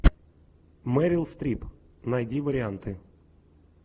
мэрил стрип найди варианты